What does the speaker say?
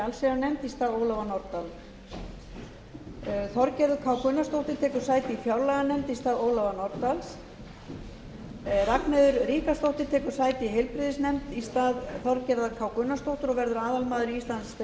allsherjarnefnd í stað ólafar nordal þorgerður k gunnarsdóttir tekur sæti í fjárlaganefnd í stað ólafar nordal ragnheiður ríkharðsdóttir tekur sæti í heilbrigðisnefnd í stað þorgerðar k gunnarsdóttur og verður aðalmaður í íslandsdeild